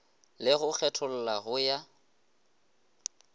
le go kgetholla go ya